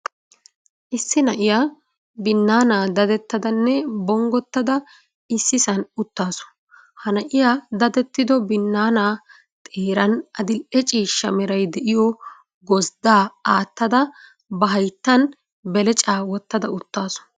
Issi na'iya binnaana dadettadanne bonggotta da issisan uttaasu. Ha na'iya dadettido binnaana xeeran adil''e ciishsha meray de'iyo gozddaa aattada, ba hayttan belecaa wottaada uttaasu.